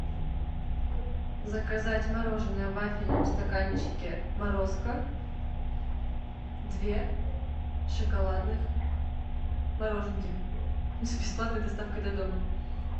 заказать мороженое в вафельном стаканчике морозко две шоколадных мороженки с бесплатной доставкой до дома